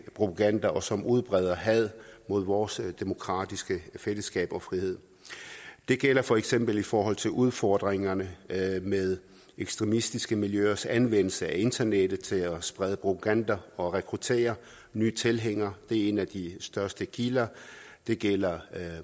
propaganda og som udbreder had mod vores demokratiske fællesskab og frihed det gælder for eksempel i forhold til udfordringerne med ekstremistiske miljøers anvendelse af internettet til at sprede propaganda og rekruttere nye tilhængere det er en af de største kilder det gælder